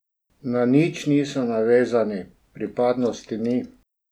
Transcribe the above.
Na nič niso navezani, pripadnosti ni.